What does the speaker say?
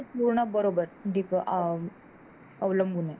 पूर्ण बरोबर आह अवलंबून आहे.